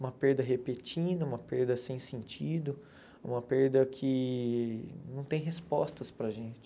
Uma perda repentina, uma perda sem sentido, uma perda que não tem respostas para a gente.